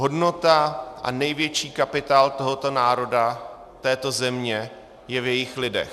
Hodnota a největší kapitál tohoto národa, této země, je v jejích lidech.